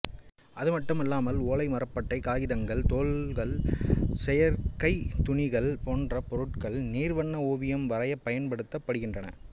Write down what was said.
அதுமட்டுமல்லாமல் ஓலை மரப்பட்டை காதிதங்கள் தோல்கள் செயற்கைத் துணிகள் போன்ற பொருட்களும் நீர் வர்ண ஓவியம் வரையப் பயன்படுத்தப்படுகின்றன